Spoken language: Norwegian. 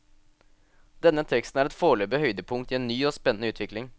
Denne teksten er et forløpig høydepunkt i en ny og spennende utvikling.